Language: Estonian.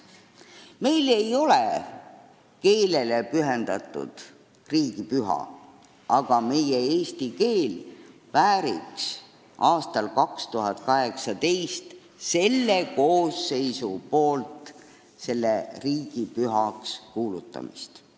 Meil ei ole keelele pühendatud riigipüha, aga eesti keel vääriks aastal 2018 selle koosseisu poolt riigipühaks kuulutamist.